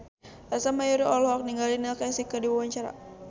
Ersa Mayori olohok ningali Neil Casey keur diwawancara